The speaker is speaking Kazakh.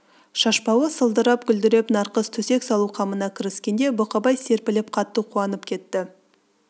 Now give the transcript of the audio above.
шашбауы сылдырап-гүлдіреп нарқыз төсек салу қамына кіріскенде бұқабай серпіліп қатты қуанып кетті